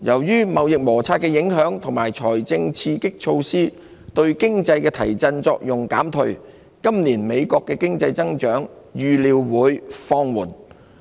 受貿易摩擦影響，加上財政刺激措施對經濟的提振作用減退，今年美國經濟的增長預料會放緩。